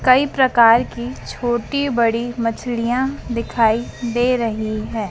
कई प्रकार की छोटी बड़ी मछलियां दिखाई दे रही है।